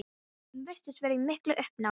Hún virtist vera í miklu uppnámi.